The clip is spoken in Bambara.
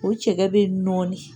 O cɛkɛ bɛ nɔɔni.